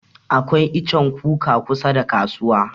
Akwai ichen kuka kusa da kasuwa.